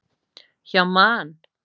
Hjá Man.